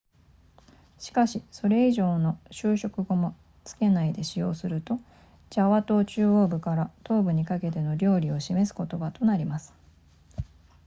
しかしそれ以上の修飾語も付けないで使用するとジャワ島中央部から東部にかけての料理を指す言葉となります